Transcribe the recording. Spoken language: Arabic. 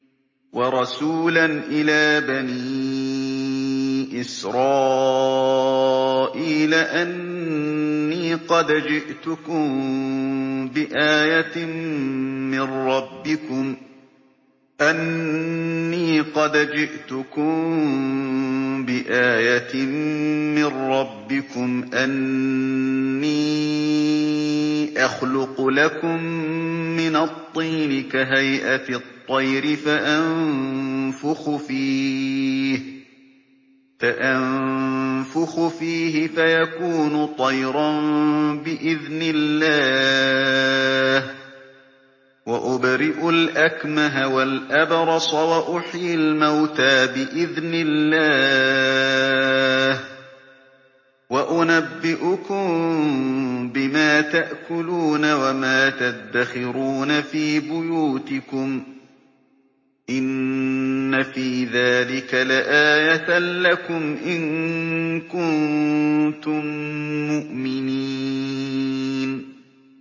وَرَسُولًا إِلَىٰ بَنِي إِسْرَائِيلَ أَنِّي قَدْ جِئْتُكُم بِآيَةٍ مِّن رَّبِّكُمْ ۖ أَنِّي أَخْلُقُ لَكُم مِّنَ الطِّينِ كَهَيْئَةِ الطَّيْرِ فَأَنفُخُ فِيهِ فَيَكُونُ طَيْرًا بِإِذْنِ اللَّهِ ۖ وَأُبْرِئُ الْأَكْمَهَ وَالْأَبْرَصَ وَأُحْيِي الْمَوْتَىٰ بِإِذْنِ اللَّهِ ۖ وَأُنَبِّئُكُم بِمَا تَأْكُلُونَ وَمَا تَدَّخِرُونَ فِي بُيُوتِكُمْ ۚ إِنَّ فِي ذَٰلِكَ لَآيَةً لَّكُمْ إِن كُنتُم مُّؤْمِنِينَ